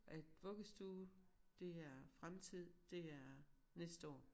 At vuggestue det er fremtid det er næste år